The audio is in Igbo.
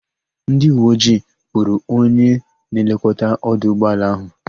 Ndịuweojii kpụrụ onye na-elekọta ọdụ ụgbọala ahụ.